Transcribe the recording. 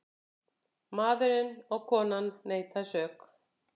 Maðurinn og konan neita sök.